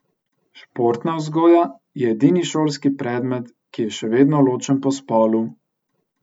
Športna vzgoja je edini šolski predmet, ki je še vedno ločen po spolu.